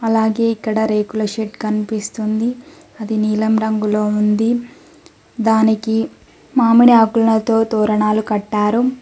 అలాగే ఇక్కడ రేకుల షెడ్ కనిపిస్తుంది అది నీలం రంగులో ఉంది దానికి మామిడి ఆకులతో తోరనాలు కట్టారు.